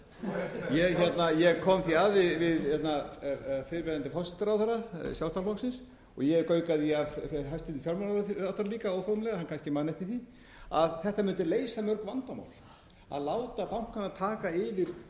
sjálfstæðisflokksins og ég gaukaði því að hæstvirtur fjármálaráðherra óformlega hann kannski man eftir því að þetta mundi leysa mörg vandamál að láta bankana taka yfir